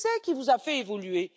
Qui vous a fait évoluer?